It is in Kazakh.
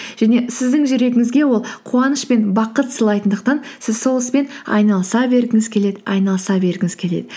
және сіздің жүрегіңізге ол қуаныш пен бақыт сыйлайтындықтан сіз сол іспен айналыса бергіңіз келеді айналыса бергіңіз келеді